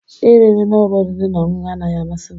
Iri nri na ụlọ oriri na ọṅụṅụ anaghị amasị m.